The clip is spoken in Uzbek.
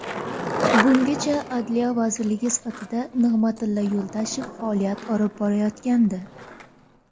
Bungacha Adliya vaziri sifatida Nig‘matilla Yuldashev faoliyat olib borayotgandi.